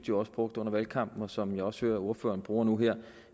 jo også brugte under valgkampen og som jeg også hører at ordføreren bruger nu her